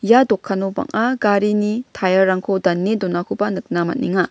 ia dokano banga garini tire-rangko dane donakoba nikna man·enga.